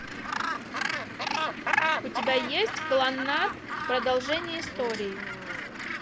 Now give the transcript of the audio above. у тебя есть кланнад продолжение истории